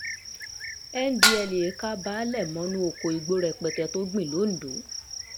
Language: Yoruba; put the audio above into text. ndtea ka um baele mọ́nú oko igbó rẹpẹtẹ tó gbìn londo